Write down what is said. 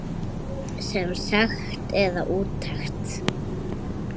Sem sekt eða úttekt?